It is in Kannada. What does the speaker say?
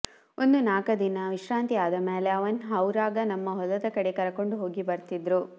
ಒಂದ ನಾಕ ದಿನ ವಿಶ್ರಾಂತಿ ಆದ ಮ್ಯಾಲ ಅವನ್ ಹೌರಗ ನಮ್ಮ ಹೊಲದ ಕಡೆ ಕರಕೊಂಡು ಹೋಗಿ ಬರತಿದ್ರು